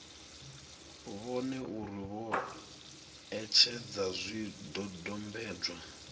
vhone uri vho etshedza zwidodombedzwa